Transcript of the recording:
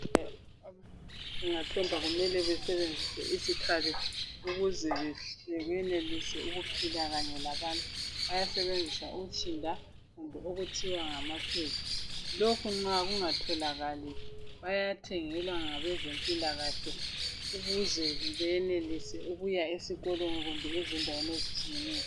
Abantwana bangathomba kumele basebenzise izikhali ukuze benelise ukuphila kanye labanye. Bayasebenzisa utshinda kumbe okuthiwa ngamapads. Lokhu nxa kungatholakali bayathengelwa ngabezempilakahle. Ukuze benelise ukuya esikolweni, kumbe ezindaweni ezitshiyeneyo.